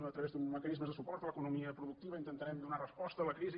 a través d’uns mecanismes de suport a l’econo·mia productiva intentarem donar resposta a la crisi